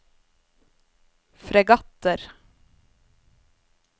fregatter